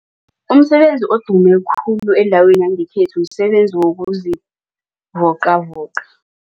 Umsebenzi odume khulu endaweni yangekhethu msebenzi wokuzivocavoca.